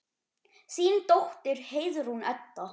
Þín dóttir, Heiðrún Edda.